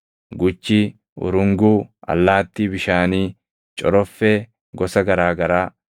guchii, urunguu, allaattii bishaanii, coroffee gosa garaa garaa,